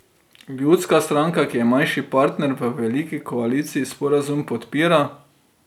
Ljudska stranka, ki je manjši partner v veliki koaliciji, sporazum podpira.